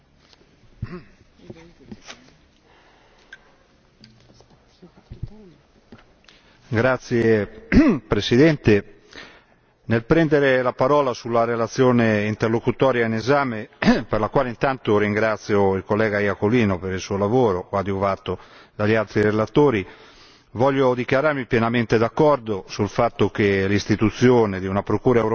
Signora Presidente, onorevoli colleghi, nel prendere la parola sulla relazione interlocutoria in esame per la quale intanto ringrazio il collega Iacolino per il suo lavoro, coadiuvato dagli altri relatori, voglio dichiararmi pienamente d'accordo sul fatto che l'istituzione di una procura europea rappresenti